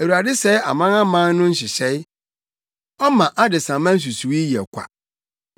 Awurade sɛe amanaman no nhyehyɛe; ɔma adesamma nsusuwii yɛ ɔkwa.